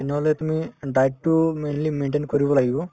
তেনেহলে তুমি diet তো mainly maintain কৰিব লাগিব